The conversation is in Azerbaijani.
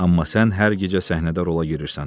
Amma sən hər gecə səhnədə rola girirsən.